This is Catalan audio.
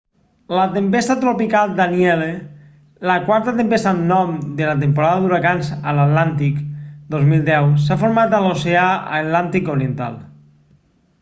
la tempesta tropical danielle la quarta tempesta amb nom de la temporada d'huracans a l'atlàntic 2010 s'ha format a l'oceà atlàntic oriental